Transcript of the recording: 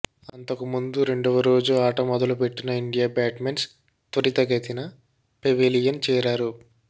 అంతకుముందు రెండవ రోజు ఆట మొదలుపెట్టిన ఇండియా బ్యాట్స్మెన్ త్వరితగతిన పెవిలియన్ చేరారు